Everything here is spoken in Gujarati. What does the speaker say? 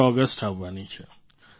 ૧૫ ઑગસ્ટ આવવાની છે